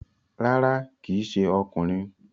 Rárá, kíì ṣe ọkùnrin